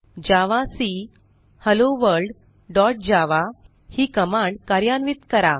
जावाक hello world dot java ही command कार्यान्वित करा